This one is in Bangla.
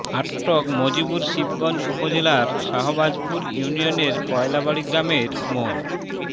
আটক মজিবুর শিবগঞ্জ উপজেলার শাহবাজপুর ইউনিয়নের কয়লাবাড়ি গ্রামের মো